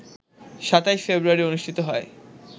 ২৭ ফেব্রুয়ারি অনুষ্ঠিত হয়